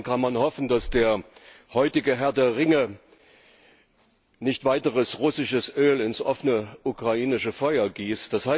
Insofern kann man nur hoffen, dass der heutige Herr der Ringe nicht weiteres russisches Öl ins offene ukrainische Feuer gießt.